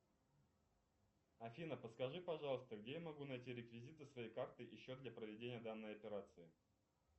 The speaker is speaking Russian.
афина подскажи пожалуйста где я могу найти реквизиты своей карты и счет для проведения данной операции